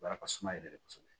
Wa ka suma yɛrɛ de kosɛbɛ